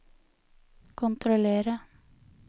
kontrollere